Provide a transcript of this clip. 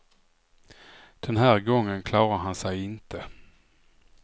Den här gången klarar han sig inte.